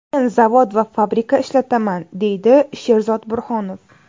Men zavod va fabrika ishlataman, deydi Sherzod Burhonov.